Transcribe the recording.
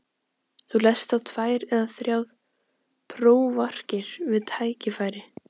Þú lest þá tvær eða þrjár prófarkir við tækifæri.